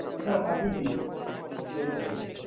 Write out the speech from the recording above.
হ্যা পাঠিয়ে দিয়েছি upload হয়ে গেছে